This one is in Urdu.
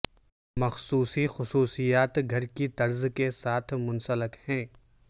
مخصوص خصوصیات گھر کی طرز کے ساتھ منسلک ہیں